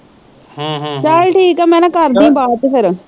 ਚਲ ਠੀਕ ਆ ਮੈ ਨਾ ਕਰਦੀ ਬਾਅਦ ਚ ਫਿਰ